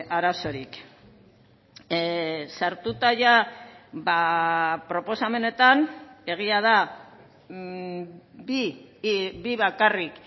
arazorik sartuta proposamenetan egia da bi bakarrik